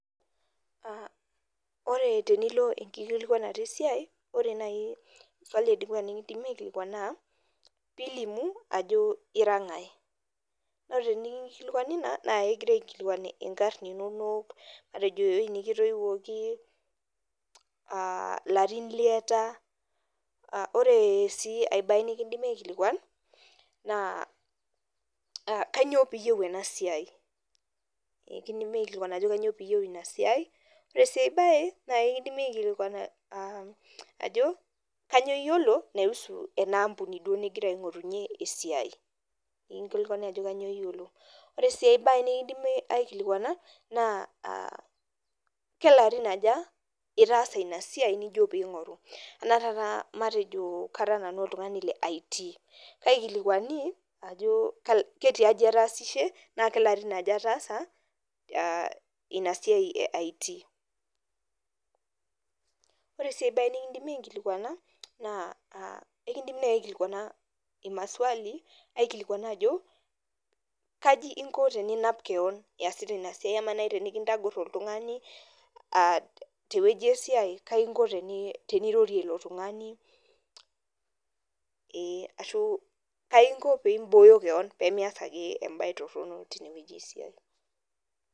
koree tenilo enkikualikinoto esia naa ekingasae aikilikuan ajo ira ngae koreee tene nkilikuani ina naaa ekigirai aikilikuan inkarn inonok matejo ewueji nekitoiwokii ilarin linonok nekinkilikuani ajokii kaanyo iyiolo kuhusu ena siaii nenkilikuani enaa iyiolo ina ampuni koree sii enkae kelarin ajaa itaasa inasiaii nijo peeyie ingoru nikinki likuani ako kajoo ilarin litaasaa ina siai kajaa inko peeyie irorie iltunganak peee yie imbooyo kewon minyaaal ake esiai.